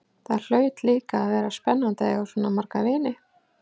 Það hlaut líka að vera spennandi að eiga svona marga vini.